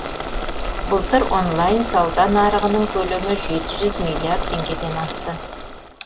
былтыр онлайн сауда нарығының көлемі жеті жүз миллиард теңгеден асты